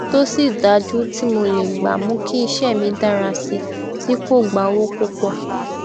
tosi daju tí mo lè gbà mú kí iṣé mi dara sii ti ko gba owo pupo